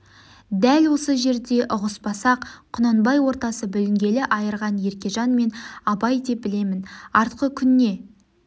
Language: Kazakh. дәл осы жерде ұғыспасақ құнанбай ортасы бүлінгені айырған еркежан мен абай деп білемін артқы күн не